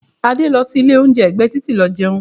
Adé lọ sí ilé oúnjẹ ẹgbẹ́ titi lọ jẹun.